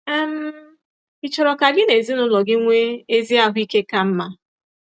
um Ị̀ chọrọ ka gị na ezinụlọ gị nwee ezi ahụ ike ka mma?